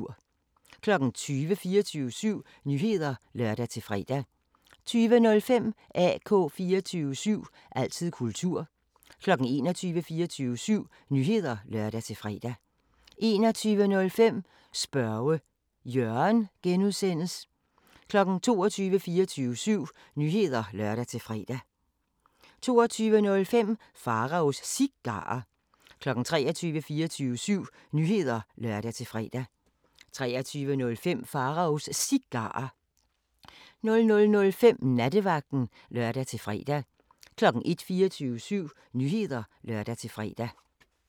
20:00: 24syv Nyheder (lør-fre) 20:05: AK 24syv – altid kultur 21:00: 24syv Nyheder (lør-fre) 21:05: Spørge Jørgen (G) 22:00: 24syv Nyheder (lør-fre) 22:05: Pharaos Cigarer 23:00: 24syv Nyheder (lør-fre) 23:05: Pharaos Cigarer 00:05: Nattevagten (lør-fre) 01:00: 24syv Nyheder (lør-fre)